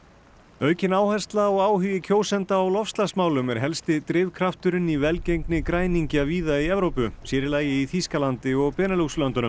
aukin áhersla og áhugi kjósenda á loftslagsmálum er helsti drifkrafturinn í velgengni græningja víða í Evrópu sér í lagi í Þýskalandi og Benelux löndunum